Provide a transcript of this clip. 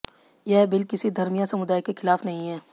यह बिल किसी धर्म या समुदाय के खिलाफ नहीं है